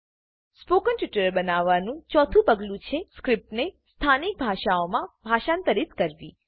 spoken tutorial બનાવવાનું 4થું પગલું છે સ્ક્રીપ્ટને સ્થાનિક ભાષાઓમાં ભાષાંતરીત કરવી